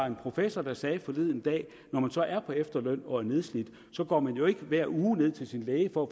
en professor sagde forleden dag når man så er på efterløn og er nedslidt går man jo ikke hver uge ned til sin læge for